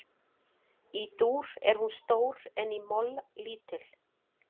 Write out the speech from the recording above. Í dúr er hún stór en í moll lítil.